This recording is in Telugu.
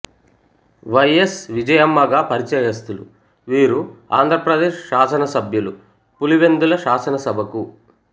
ఎస్ విజయమ్మ గా పరిచయస్తులు వీరు ఆంధ్రప్రదేశ్ శాసనసభ్యులు పులివెందుల శాసనసభకు వై